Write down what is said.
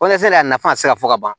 Walasa de a nafa ka se ka fɔ ka ban